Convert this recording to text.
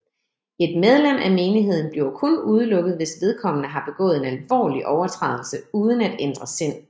Et medlem af menigheden bliver kun udelukket hvis vedkommende har begået en alvorlig overtrædelse uden at ændre sind